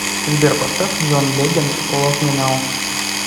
сбер поставь джон легенд лав ми нау